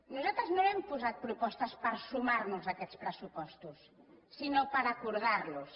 nosaltres no hem posat propostes per sumar nos a aquests pressupostos sinó per acordar los